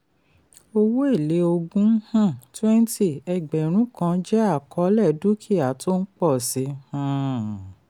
owó èlé ogún um twenty ẹgbẹ̀rún kan jẹ́ àkọọ́lẹ̀ dúkìá tó ń pọ̀ sí i um